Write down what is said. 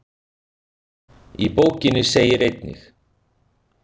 Í bókinni segir einnig: